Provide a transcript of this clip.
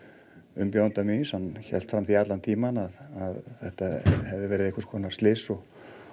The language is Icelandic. umbjóðanda míns hann hélt því fram allan tímann að þetta hafi verið einhvers konar slys og